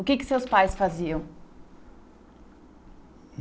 O que que seus pais faziam?